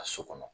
Ka so kɔnɔ